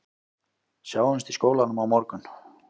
Sjáumst í skólanum á morgun